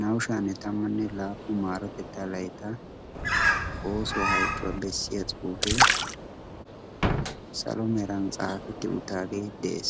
naa''u sha'anne tammanne laappu maarotettaa laytta oosuwaa halchchuwaa bessiya cuufee salo meran xaafetti uttaagee de'ees